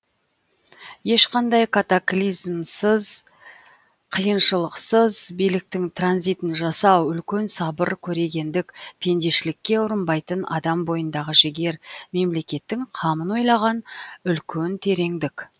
ешқандай катаклизмсыз қиыншылықсыз биліктің транзитін жасау үлкен сабыр көрегендік пендешілікке ұрынбайтын адам бойындағы жігер мемлекеттің қамын ойлаған үлкен тереңдік